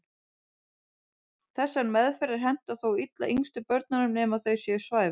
Þessar meðferðir henta þó illa yngstu börnunum nema þau séu svæfð.